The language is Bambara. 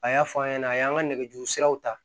A y'a fɔ an ɲɛna a y'an ka nɛgɛjuru siraw ta